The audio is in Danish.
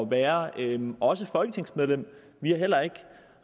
være også folketingsmedlem vi har heller ikke